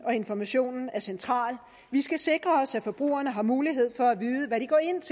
og informationen er central vi skal sikre os at forbrugerne har mulighed for at